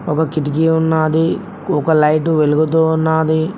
ఒక కిటికీ ఉన్నాది ఒక లైటు వెలుగుతూ ఉన్నాది.